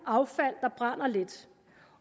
affald der brænder let